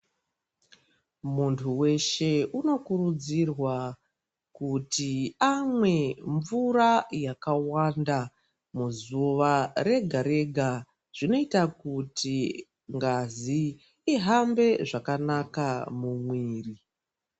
Muntu weshe unokurudzirwa kuti amwe mvura yakawanda, muzuva rega-rega. Zvinoita kuti ngazi ihambe zvakanaka mumwiiri.